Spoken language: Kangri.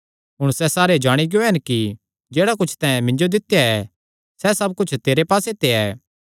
हुण सैह़ जाणी गियो हन कि जेह्ड़ा कुच्छ तैं मिन्जो दित्या ऐ सैह़ सब कुच्छ तेरे पास्से ते ऐ